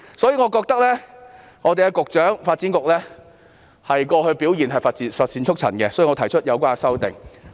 由於我認為發展局局長過去的表現乏善足陳，因此提出有關修正案。